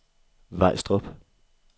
Vejstrup